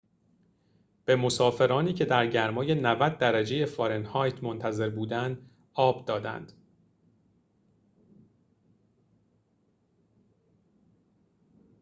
به مسافرانی که در گرمای ۹۰ درجه فارنهایت منتظر بودند آب دادند